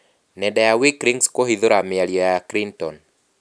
Nenda ya Wikileaks kũhithũra mĩario ya Clinton.